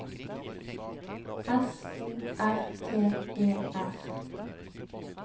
S O R T E R